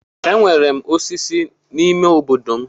Enwere m osisi n'ime obodo m.